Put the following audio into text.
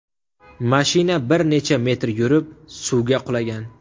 Mashina bir necha metr yurib, suvga qulagan.